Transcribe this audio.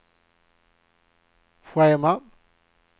schema